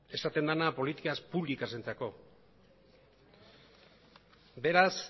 esaten dena políticas públicasentzako beraz